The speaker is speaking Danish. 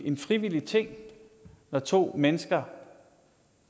en frivillig ting når to mennesker